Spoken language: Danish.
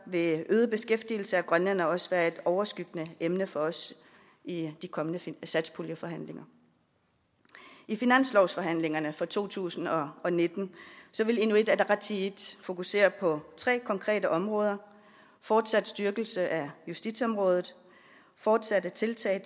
vil øget beskæftigelse af grønlændere også være et overskyggende emne for os i de kommende satspuljeforhandlinger i finanslovsforhandlingerne for to tusind og nitten vil inuit ataqatigiit fokusere på tre konkrete områder fortsat styrkelse af justitsområdet fortsatte tiltag